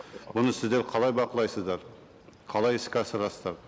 бұны сіздер қалай бақылайсыздар қалай іске асырасыздар